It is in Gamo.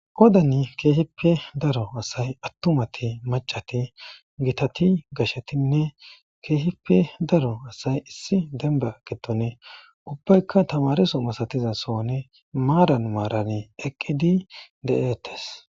Qodani kehippe daro asay atummati macati gitati gashetinne kehippe daro asay issi denba gidoni ubayika tamareso masatiza soni maran maran eqidi deates.